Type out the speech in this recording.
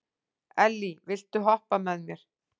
Elly, viltu hoppa með mér?